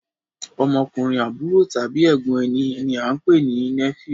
Ọmọkùnrin àbúrò tàbí ègbón ẹní ní a pé ní nephew